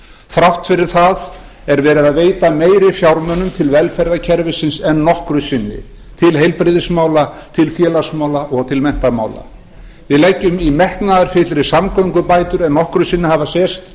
þrátt fyrir það er verið að veita meiri fjármunum til velferðarkerfisins en nokkru sinni til heilbrigðismála til félagsmála og til menntamála við leggjum í metnaðarfyllri samgöngubætur en nokkru sinni hafa sést